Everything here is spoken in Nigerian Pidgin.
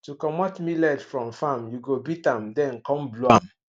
to comot millet from farm you go beat am then come blow am